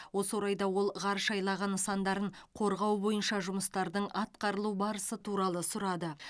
осы орайда ол ғарыш айлағы нысандарын қорғау бойынша жұмыстардың атқарылу барысы туралы сұрады